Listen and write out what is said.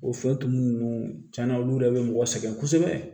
O fɛn tumu ninnu tiɲɛna olu yɛrɛ bɛ mɔgɔ sɛgɛn kosɛbɛ